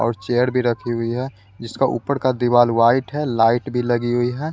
और चेयर भी रखी हुई है जिसका ऊपर का दीवाल वाइट है लाइट भी लगी हुई है।